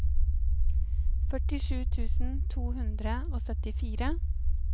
førtisju tusen to hundre og syttifire